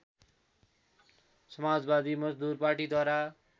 समाजवादी मजदुर पार्टीद्वारा